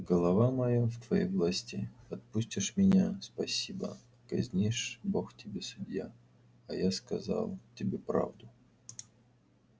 голова моя в твоей власти отпустишь меня спасибо казнишь бог тебе судья а я сказал тебе правду